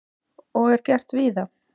Og er gert víða.